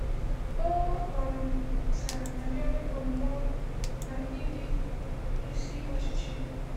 O um kwusara banyere omume ọma na ịdị n’isi ọchịchị.